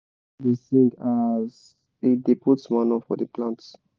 my brother da sing aas he da put manure for the plant